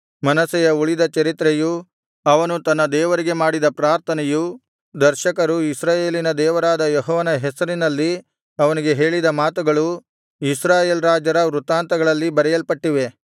ಮನಸ್ಸೆಯ ಉಳಿದ ಚರಿತ್ರೆಯೂ ಅವನು ತನ್ನ ದೇವರಿಗೆ ಮಾಡಿದ ಪ್ರಾರ್ಥನೆಯೂ ದರ್ಶಕರು ಇಸ್ರಾಯೇಲಿನ ದೇವರಾದ ಯೆಹೋವನ ಹೆಸರಿನಲ್ಲಿ ಅವನಿಗೆ ಹೇಳಿದ ಮಾತುಗಳೂ ಇಸ್ರಾಯೇಲ್ ರಾಜರ ವೃತ್ತಾಂತಗಳಲ್ಲಿ ಬರೆಯಲ್ಪಟ್ಟಿವೆ